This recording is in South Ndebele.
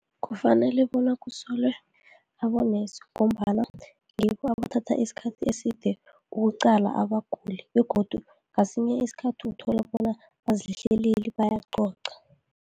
Kufanele bona kusolwe abonesi, ngombana ngibo abathatha isikhathi eside ukuqala abaguli begodu ngesinye isikhathi uthola bona bazihleleli bayacoca.